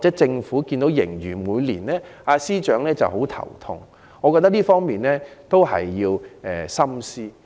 政府和司長每年看到盈餘便頭痛，我覺得他們需要深思。